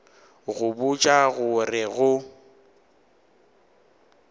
go botša go re go